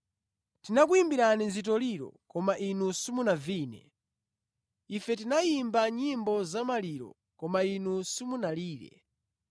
“ ‘Tinakuyimbirani zitoliro, koma inu simunavine; ife tinayimba nyimbo zamaliro, koma inu simunalire.’